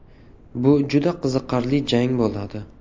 Bu juda qiziqarli jang bo‘ladi.